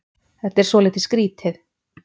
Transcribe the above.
Þetta er svolítið skrítið.